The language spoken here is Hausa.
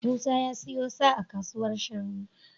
Musa ya siyo sa a kasuwar shanu.